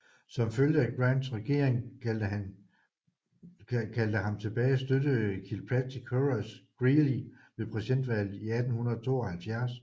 Som følge af at Grants regering kaldte ham tilbage støttede Kilpatrick Horace Greeley ved præsidentvalget i 1872